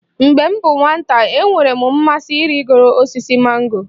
Mgbe m bụ nwata, enwere m mmasị ịrịgo osisi mango